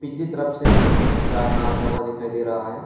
कीसी तरफ से कुछ चानना आता हुआ दिखाई दे रहा है।